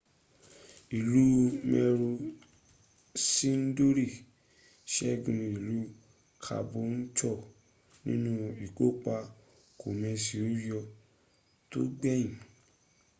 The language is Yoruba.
ìlú maroochydore sẹ́gun ìlú caboolture nínú ìkópa kòmẹsẹ̀óyọ tó gbẹ̀yìn